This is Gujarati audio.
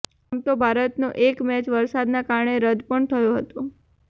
આમ તો ભારતનો એક મેચ વરસાદના કારણે રદ્દ પણ થયો હતો